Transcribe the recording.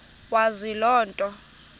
wazi loo nto